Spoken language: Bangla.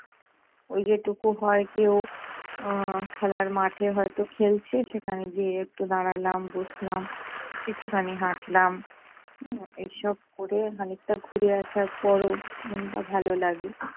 ওই যেটুকু হয় কেউ আহ খেলার মাঠে হয়ত খেলছে সেখানে গিয়ে একটু দাঁড়ালাম, বসলাম, একটুখানি হাঁটলাম। হম এসব করে খানিকটা ঘুরে আসার পরও মনটা ভালো লাগে